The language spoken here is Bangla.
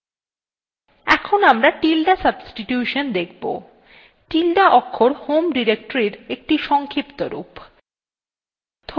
এখন আমরা tilde substitution দেখব tilde ~ অক্ষর home ডিরেক্টরীর একটি সংক্ষিপ্ত রূপ